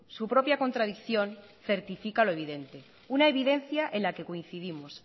su propia contradicción certifica lo evidente una evidencia en la que coincidimos